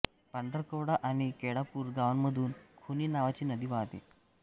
पांढरकवडा आणि केळापूर गावांमधून खुनी नावाची नदी वाहते